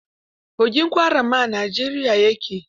Kogin Kwara ma a Najeriya ya ke.